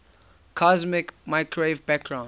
cosmic microwave background